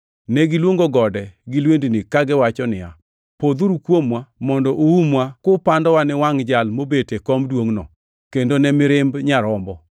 Negiluongo gode gi lwendini kagiwacho niya, “Podhuru kuomwa mondo uumwa kupandowa ni wangʼ Jal mobet e kom duongʼno, kendo ne mirimb Nyarombo!